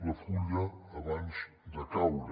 la fulla abans de caure